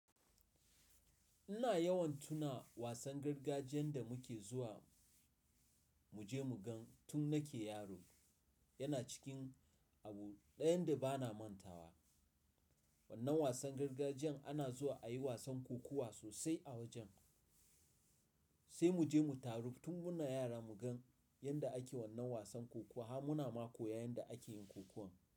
Ina yawan tuna wasan gargajiyan da muke zuwa muje mugan tun nake yaro. Yana cikin abu dayan da bana mantawa. Wannan wasan gargajiyan ana zuwa ayi wasan kokuwa sosai a wajen. Sai muje mu taru tun muna yara mu gan yanda ake wannan wasan kokuwa. Har muna ma koyan yanda akeyin kokuwan.